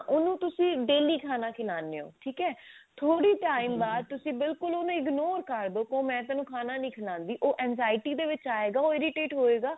ਉਹਨੂੰ ਤੁਸੀਂ daily ਖਾਣਾ ਖਿਲਾਉਂਦੇ ਹੋ ਠੀਕ ਹੈ ਥੋੜੇ time ਬਾਅਦ ਤੁਸੀਂ ਬਿਲਕੁਲ ਉਹਨੂੰ ignore ਕਰਦੋ ਕਹੋ ਮੈਂ ਤੇਨੂੰ ਖਾਣਾ ਨੀ ਖਿਲਾਉਂਦੀ ਉਹ insanity ਦੇ ਵਿੱਚ ਆਏਗਾ ਉਹ irritate ਹੋਏਗਾ